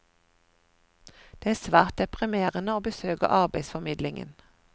Det er svært deprimerende å besøke arbeidsformidlingen.